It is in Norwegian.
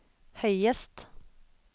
høyest